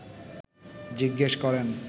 জিজ্ঞেস করেন